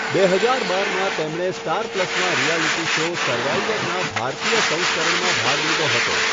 બે હજાર બારમાં, તેમણે સ્ટાર પ્લસના રિયાલિટી શો 'સર્વાઈવર'ના ભારતીય સંસ્કરણમાં ભાગ લીધો હતો.